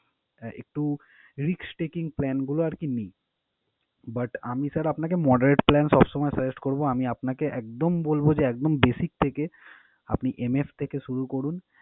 আহ একটু risk taking plan গুলো আরকি নিই but আমি sir আপনাকে moderate plan সবসময় suggest করবো আমি আপনাকে একদম বলবো যে একদম basic থেকে আপনি MF থেকে শুরু করুন।